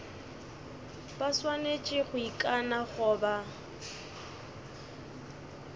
ba swanetše go ikana goba